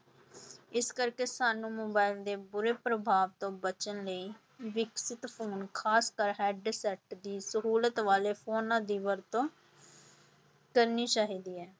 ਇਸ ਕਰਕੇ ਸਾਨੂੰ ਮੋਬਾਇਲ ਦੇ ਬੁਰੇ ਪ੍ਰਭਾਵ ਤੋਂ ਬਚਣ ਲਈ ਵਿਕਸਿਤ ਫ਼ੋਨ ਖਾਸ ਕਰ headset ਦੀ ਸਹੂਲਤ ਵਾਲੇ ਫ਼ੋਨਾਂ ਦੀ ਵਰਤੋਂ ਕਰਨੀ ਚਾਹੀਦੀ ਹੈ।